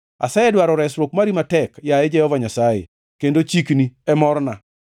Asedwaro resruok mari matek, yaye Jehova Nyasaye; kendo chikni e morna.